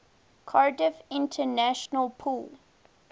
cardiff international pool